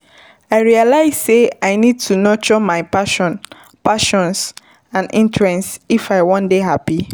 I realize sey I need to nurture my passions passions and interests if I wan dey happy.